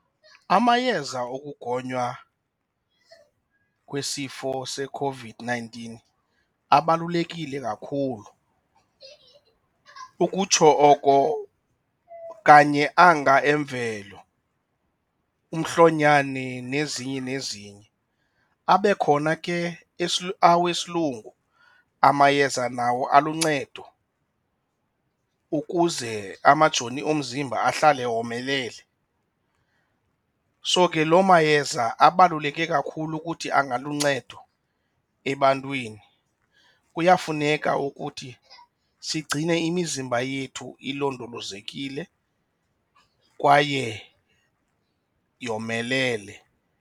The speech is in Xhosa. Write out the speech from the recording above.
Amayeza okugonywa kwisifo seCOVID-nineteen abalulekile kakhulu, ukutsho oko kanye anga emvelo umhlonyani nezinye nezinye. Abe khona ke awesilungu amayeza nawo aluncedo ukuze amajoni omzimba ahlale womelele. So ke loo mayeza abaluleke kakhulu ukuthi angaluncedo ebantwini kuyafuneka ukuthi sigcine imizimba yethu ilondolozekile kwaye yomelele.